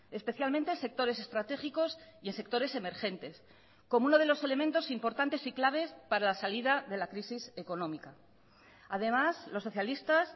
especialmente sectores estratégicos y en sectores emergentes como uno de los elementos importantes y claves para la salida de la crisis económica además los socialistas